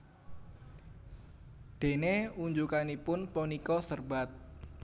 Déné unjukanipun punika serbat